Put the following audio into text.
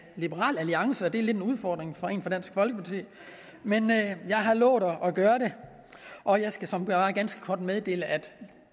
liberal alliance det er lidt en udfordring for en fra dansk folkeparti men jeg har lovet at gøre det og jeg skal såmænd bare ganske kort meddele at